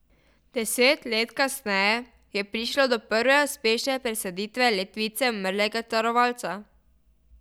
Deset let kasneje je prišlo do prve uspešne presaditve ledvice umrlega darovalca.